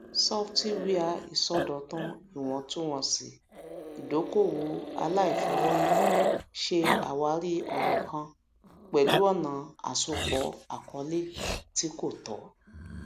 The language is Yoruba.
sọfítíwẹà ìṣòdọtún ìwọntúnwọnsì ìdókòowó àlàìfọwọyì ṣe àwárí ọràn kan pẹlú ọnà asopọ àkọọlẹ tí kò tọ